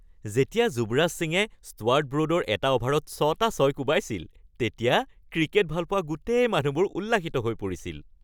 যেতিয়া যুৱৰাজ সিঙে ষ্টুৱাৰ্ট ব্ৰ'ডৰ এটা অ'ভাৰত ছটা ছয় কোবাইছিল, তেতিয়া ক্ৰিকেট ভালপোৱা গোটেই মানুহবোৰ উল্লাসিত হৈ পৰিছিল।